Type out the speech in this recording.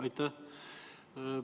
Aitäh!